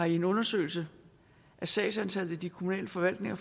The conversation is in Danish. i en undersøgelse af sagsantallet i de kommunale forvaltninger